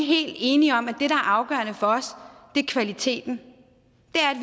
helt enige om at det der er afgørende for os er kvaliteten det